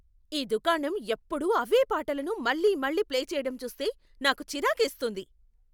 ఈ దుకాణం ఎప్పుడూ అవే పాటలను మళ్లీ మళ్లీ ప్లే చేయడం చూస్తే నాకు చిరాకేస్తుంది.